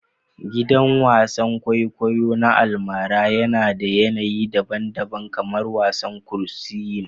Gidan wasan kwaikwayo na almara yana da yanayi daban-daban kamar wasan kursiyin